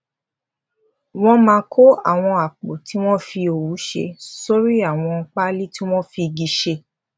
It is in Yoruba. wón máa kó àwọn àpò tí wón fi òwú ṣe sórí àwọn páálí tí wón fi igi ṣe